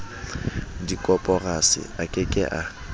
dikoporasi a ke ke a